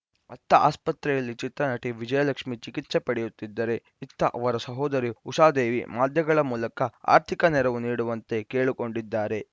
ಅತ್ತ ಆಸ್ಪತ್ರೆಯಲ್ಲಿ ಚಿತ್ರನಟಿ ವಿಜಯಲಕ್ಷ್ಮೀ ಚಿಕಿತ್ಸೆ ಪಡೆಯುತ್ತಿದ್ದರೆ ಇತ್ತ ಅವರ ಸಹೋದರಿ ಉಷಾದೇವಿ ಮಾಧ್ಯಮಗಳ ಮೂಲಕ ಆರ್ಥಿಕ ನೆರವು ನೀಡುವಂತೆ ಕೇಳಿಕೊಂಡಿದ್ದಾರೆ